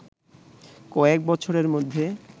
কয়েক বছরের মধ্যে